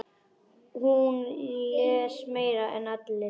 Hún les meira en allir.